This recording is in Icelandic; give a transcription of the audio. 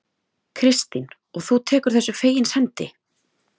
Kristín: Og þú tekur þessu fegins hendi?